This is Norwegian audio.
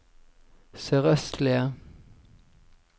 sørøstlige